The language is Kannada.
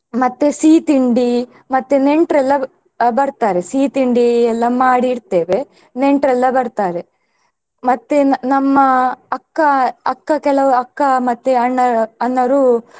ಮತ್ತೆ ಸಿಹಿತಿಂಡಿ ಮತ್ತೆ ನೆಂಟ್ರೆಲ್ಲಾ ಅಹ್ ಬರ್ತಾರೆ ಸಿಹಿ ತಿಂಡಿ ಎಲ್ಲಾ ಮಾಡಿಡ್ತೇವೆ ನೆಂಟ್ರೆಲ್ಲಾ ಬರ್ತಾರೆ ಮತ್ತೆ ನಮ್ಮ ಅಕ್ಕ ಅಕ್ಕ ಕೆಲವು ಅಕ್ಕ ಮತ್ತೆ ಅಣ್ಣ ಅಣ್ಣರು.